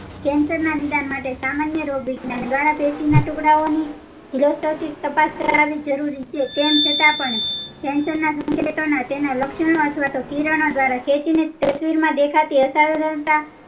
cancer ના નિદાન માટે સામાન્ય રોગવિજ્ઞાન દ્વારા પેશીઓનના ટુકડાઓ ની તાપસ કરવાની જરોરી છે તેમ છતાં પણ cancer તેના લક્ષણો અથવા તો કિરણો દ્વારા માં દેખાતી અસર્જનકતા